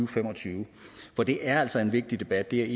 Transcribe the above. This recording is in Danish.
fem og tyve for det er altså en vigtig debat det